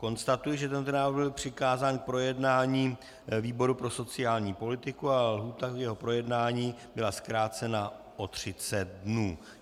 Konstatuji, že tento návrh byl přikázán k projednání výboru pro sociální politiku a lhůta k jeho projednání byla zkrácena o 30 dnů.